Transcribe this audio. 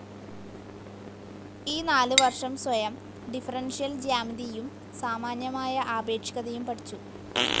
ഈ നാലു വർഷം സ്വയം, ഡിഫെറൻഷ്യൽ ജ്യാമിതീയും സാമാന്യമായ ആപേക്ഷികതയും പഠിച്ചു.